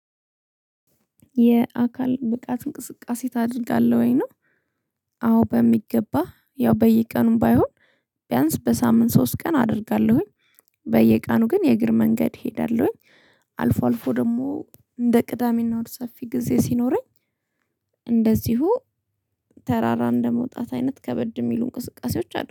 የአካል ብቃት እንቅስቃሴ ታደርጋለህ ወይ ነው? አዎ በሚገባ ያው በየቀኑም ባይሆን ቢያንስ በሳምንት ሶስት ቀን አደርጋለሁኝ። በየቀኑ ግን የእግር መንገድ እሄዳለሁኝ። አልፎ አልፎ ደግሞ እንደ ቅዳሜና እሁድ ሰፊ ጊዜ ሲኖረኝ። እንደዚሁ ተራራ እንደመውጣት አይነት ከበድ ሚሉ እንቅስቃሴዎች አሉ